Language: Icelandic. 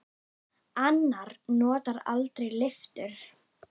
Annar notar aldrei lyftur.